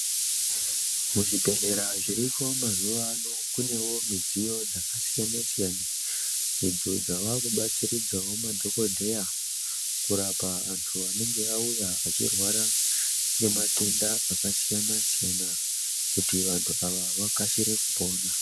Muzvibhedhlera zviripo mazuwaano, kunewo midziyo dzakasiyana-siyana, idzo dzaakubatsiridzawo madhokodheya, kurapa antu anenge auya achirwara ngematenda akasiyana-siyana, kuti vantu ava vakasire kupona.